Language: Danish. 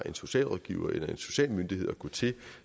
en socialrådgiver eller en social myndighed at gå til